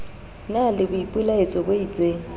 na le boipelaetso bo isteng